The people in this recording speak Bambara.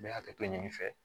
N bɛ hakɛto ɲini i fɛ